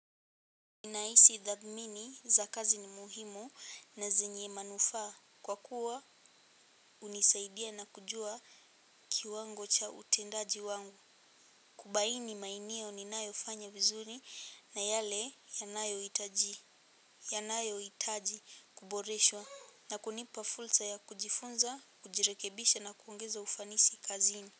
Ninahisi tadhmini za kazi ni muhimu na zenye manufaa. Kwa kuwa hunisaidia na kujua kiwango cha utendaji wangu. Kubaini maeneo ninayofanya vizuri na yale yanayohitaji kuboreshwa na kunipa fulsa ya kujifunza, kujirekebisha na kuongeza ufanisi kazini.